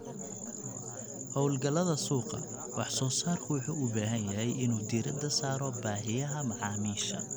Hawlgallada suuqa, wax-soo-saarku wuxuu u baahan yahay inuu diiradda saaro baahiyaha macaamiisha.